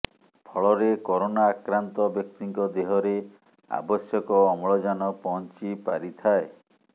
ଫଳରେ କରୋନା ଆକ୍ରାନ୍ତ ବ୍ୟକ୍ତିଙ୍କ ଦେହରେ ଆବଶ୍ୟକ ଅମ୍ଲଜାନ ପହଞ୍ଚି ପାରିଥାଏ